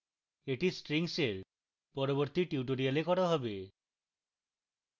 এটি strings এর পরবর্তী tutorial করা হবে